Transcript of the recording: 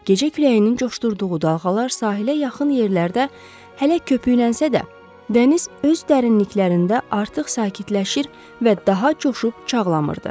Gecə küləyinin coşdurduğu dalğalar sahilə yaxın yerlərdə hələ köpüklənsə də, dəniz öz dərinliklərində artıq sakitləşir və daha coşub çağlamırdı.